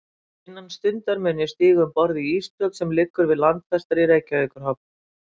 Innan stundar mun ég stíga um borð í ísbrjót, sem liggur við landfestar í Reykjavíkurhöfn.